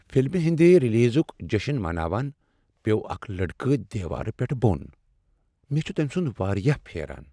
فلمہ ہٕنٛد ریلیزک جشن مناوان پیوٚو اکھ لڑکہٕ دیوارٕ پیٹھٕ بۄن۔ مےٚ چھ تٔمۍ سنٛد واریاہ پھیران۔